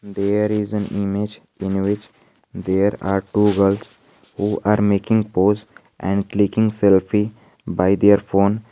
there is a image in which there are two girls who are making post and clicking selfie by their phone.